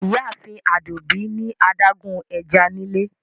Ìyààfin Adúmbí ni adágún è̩já nílẹ̀.